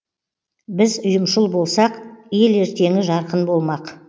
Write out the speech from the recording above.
біз ұйымшыл болсақ ел ертеңі жарқын болмақ